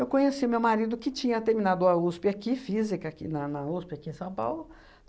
Eu conheci o meu marido, que tinha terminado a USP aqui, Física, aqui na na USP, aqui em São Paulo.